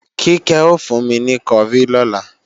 Kíkẹ́ ò fún mi ní kọrí lọ́la